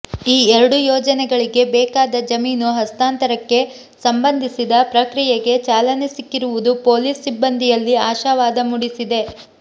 ಈ ಎರಡೂ ಯೋಜನೆಗಳಿಗೆ ಬೇಕಾದ ಜಮೀನು ಹಸ್ತಾಂತರಕ್ಕೆ ಸಂಬಂಧಿಸಿದ ಪ್ರಕ್ರಿಯೆಗೆ ಚಾಲನೆ ಸಿಕ್ಕಿರುವುದು ಪೊಲೀಸ್ ಸಿಬಂದಿಯಲ್ಲಿ ಆಶಾವಾದ ಮೂಡಿಸಿದೆ